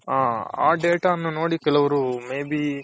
ಹ ಕೆಲವರು may be